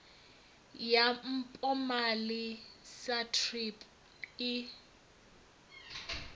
ya mpomali sa thrip i